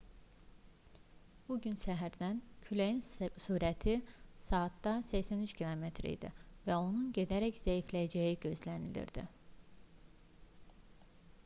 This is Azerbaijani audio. bu gün səhərdən küləyin sürəti saatda 83 km idi və onun gedərək zəifləyəcəyi gözlənilirdi